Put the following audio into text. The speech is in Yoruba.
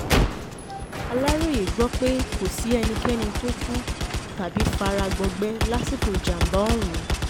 aláròye gbọ́ pé lọ sí ẹnikẹ́ni tó kú tàbí fara gbọgbẹ́ lásìkò ìjàm̀bá ọ̀hún